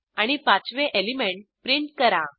आणि 5 वे element print करा